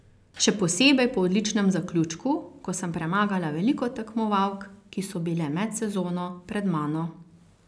Še posebej po odličnem zaključku, ko sem premagala veliko tekmovalk, ki so bile med sezono pred mano.